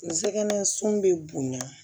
N sɛgɛn sun bɛ bonya